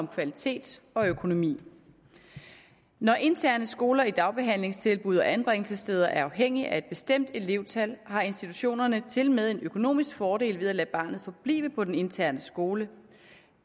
kvalitet og økonomi når interne skoler i dagbehandlingstilbud og på anbringelsessteder er afhængige af et bestemt elevtal har institutionerne tilmed en økonomisk fordel ved at lade barnet forblive på den interne skole